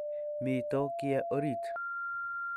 Mito kiye orit